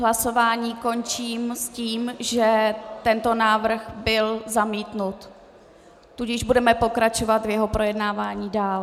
Hlasování končím s tím, že tento návrh byl zamítnut, tudíž budeme pokračovat v jeho projednávání dál.